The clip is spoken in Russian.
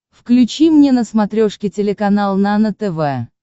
включи мне на смотрешке телеканал нано тв